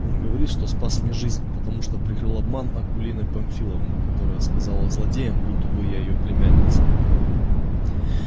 он говорит что спас мне жизнь потому что прикрыл обман акулины памфиловны которая сказала злодеям будто бы я её племянница